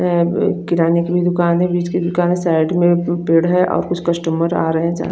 यहां पे एक किराने की भी दुकान है बिज की दुकान है साइड में पेड़ है और कुछ कस्टमर आ रहे हैं जा--